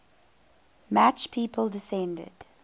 match people descended